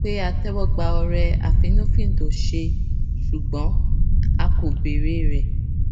pé a téwó gba ọrẹ àfínnúfíndòṣe ṣùgbón a kò béèrè rè